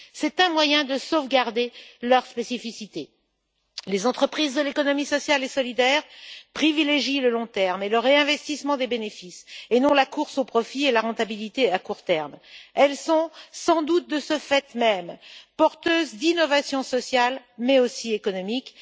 C'est un moyen de sauvegarder leur spécificité. Les entreprises de l'économie sociale et solidaire privilégient le long terme et le réinvestissement des bénéfices, et non la course au profit et la rentabilité à court terme. Elles sont sans doute, de ce fait même, porteuses d'innovations sociales autant qu'économiques.